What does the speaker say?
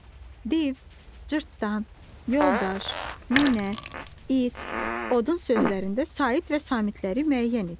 Div, cırtdan, yoldaş, nənə, it, odun sözlərində sait və samitləri müəyyən et.